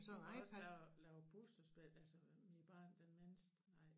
De kan også lære at lave puslespil altså mit barn den mindste nej